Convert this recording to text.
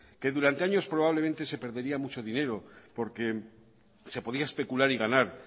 que durante años probablemente se perdería mucho dinero porque se podía especular y ganar